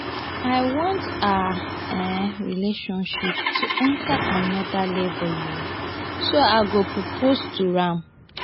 i want our um relationship to enter another level um so i go propose to am